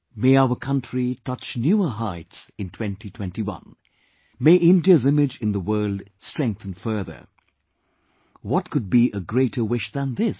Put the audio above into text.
May our country touch newer heights in 2021... May India's image in the world strengthen further...what could be a greater wish than this